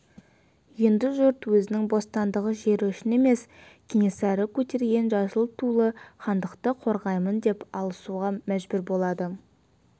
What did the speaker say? енді жұрт өзінің бостандығы жері үшін емес кенесары көтерген жасыл тулы хандықты қорғаймын деп алысуға мәжбүр болады